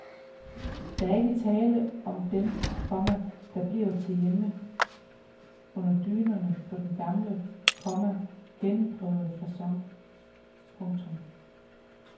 Der er ikke tale om dem, komma der bliver til hjemme under dynerne på den gamle, komma gennemprøvede facon. punktum